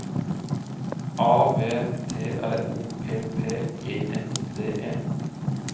A V T R O P P E N D E